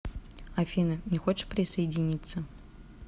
афина не хочешь присоединиться